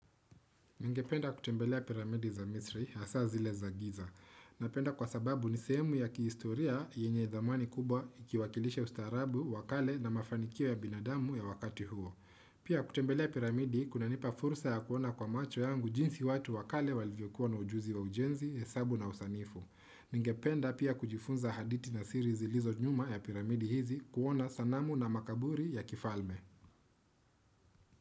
Ningependa kutembelea piramidi za misri, hasaa zile za giza. Napenda kwa sababu ni sehemu ya kihiistoria yenye thamani kubwa ikiwakilisha ustaarabu, wa kale na mafanikio ya binadamu ya wakati huo. Pia kutembelea piramidi, kunanipa fursa ya kuona kwa macho yangu jinsi watu wa kale walivyokuwa na ujuzi wa ujenzi, hesabu na usanifu. Ningependa pia kujifunza haditi na siri zilizo nyuma ya piramidi hizi kuona sanamu na makaburi ya kifalme.